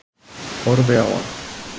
Horfi á hann.